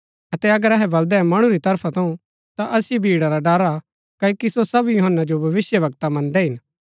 अतै अगर अहै बलदै मणु री तरफा थऊँ ता असिओ भीड़ा रा डर हा क्ओकि सो सब यूहन्‍ना जो भविष्‍यवक्ता मन्दै हिन